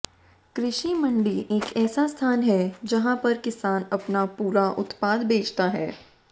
कृषि मंडी एक ऐसा स्थान है जहाँ पर किसान अपना पूरा उत्पाद बेचता है